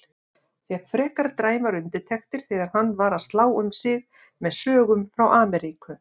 Fékk frekar dræmar undirtektir þegar hann var að slá um sig með sögum frá Ameríku.